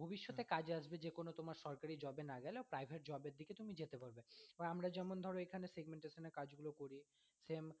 ভবিষ্যতে কাজে আসবে যেকোনো তোমার সরকারি job এ না গেলেও private job এর দিকে তুমি যেতে পারবে, আর আমরা যেমন ধর এখানে segmentation এর কাজগুলো করি same